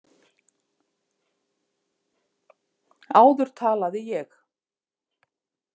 Áður talaði ég.